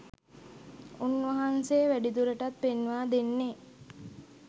උන්වහන්සේ වැඩිදුරටත් පෙන්වා දෙන්නේ